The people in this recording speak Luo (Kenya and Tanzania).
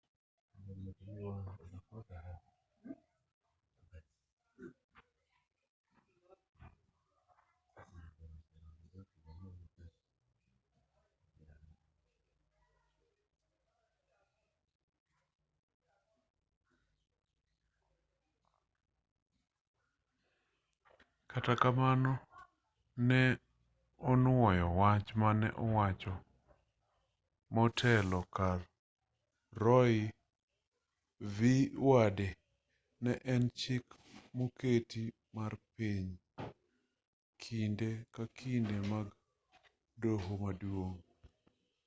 kata kamano ne onuoyo wach mane owacho motelo ni roe v wade ne en chik moketi mar piny kojiwo ber mar ng'ado buche ma kinde ka kinde mag doho maduong'